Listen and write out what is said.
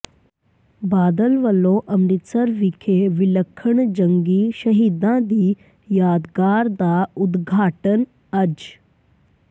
ਬਾਦਲ ਵੱਲੋਂ ਅੰਮ੍ਰਿਤਸਰ ਵਿਖੇ ਵਿਲੱਖਣ ਜੰਗੀ ਸ਼ਹੀਦਾਂ ਦੀ ਯਾਦਗਾਰ ਦਾ ਉਦਘਾਟਨ ਅੱਜ